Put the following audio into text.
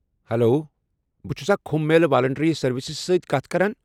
Hello, بہٕ چُھسا Kumbh Mela voluntary services سۭتۍ كتھ كران ؟